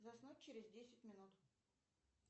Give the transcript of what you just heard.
заснуть через десять минут